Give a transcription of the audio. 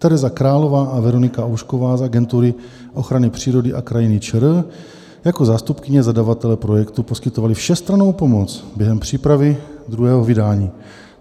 Tereza Králová a Veronika Oušková z Agentury ochrany přírody a krajiny ČR jako zástupkyně zadavatele projektu poskytovaly všestrannou pomoc během přípravy druhého vydání.